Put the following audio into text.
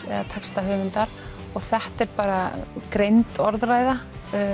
eða textahöfundar og þetta er bara greind orðræða